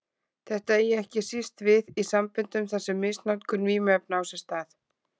Þetta eigi ekki síst við í samböndum þar sem misnotkun vímuefna á sér stað.